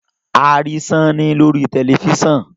a ri Sanni lori tẹlifisiọnu